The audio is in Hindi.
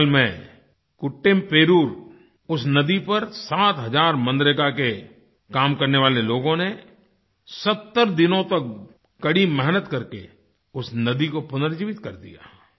केरल में कुट्टूमपेरूर कुट्टेमपेरूर उस नदी पर 7 हज़ार मनरेगा के काम करने वाले लोगों ने 70 दिनों तक कड़ी मेहनत करके उस नदी को पुनर्जीवित कर दिया